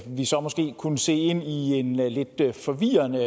vi så måske kunne se ind i en lidt forvirrende